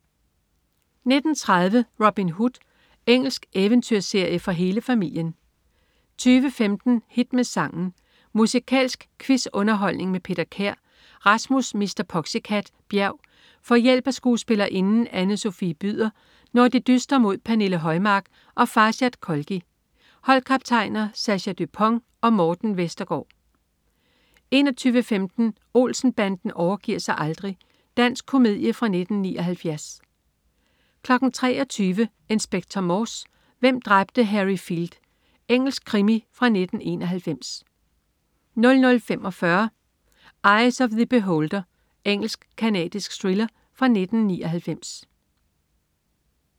19.30 Robin Hood. Engelsk eventyrserie for hele familien 20.15 Hit med sangen. Musikalsk quiz-underholdning med Peter Kær. Rasmus "Mr. Poxycat" Bjerg får hjælp af skuespillerinden Anne Sofie Byder, når de dyster mod Pernille Højmark og Farshad Kholghi. Holdkaptajner: Sascha Dupont og Morten Vestergaard 21.15 Olsen-banden overgiver sig aldrig. Dansk komedie fra 1979 23.00 Inspector Morse: Hvem dræbte Harry Field? Engelsk krimi fra 1991 00.45 Eye of the Beholder. Engelsk-canadisk thriller fra 1999